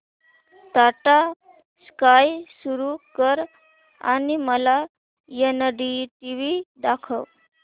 Tata sky सुरू कर आणि मला एनडीटीव्ही दाखव